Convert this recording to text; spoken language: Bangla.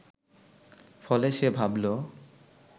ফলে সে ভাবল